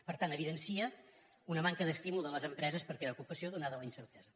per tant evidencia una manca d’estímul de les empreses per crear ocupació donada la incertesa